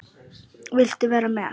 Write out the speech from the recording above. Viltu vera með?